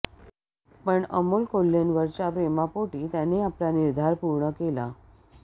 पण अमोल कोल्हेंवरच्या प्रेमापोटी त्यांनी आपला निर्धार पूर्ण केला